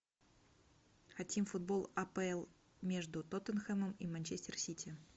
хотим футбол апл между тоттенхэмом и манчестер сити